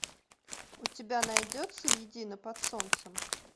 у тебя найдется едины под солнцем